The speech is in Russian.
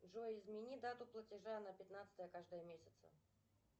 джой измени дату платежа на пятнадцатое каждого месяца